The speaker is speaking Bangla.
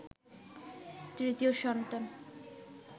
৩য় সন্তান